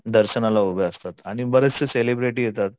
दर्शनाला उभे असतात आणि बरेचशे सेलिब्रिटी येतात.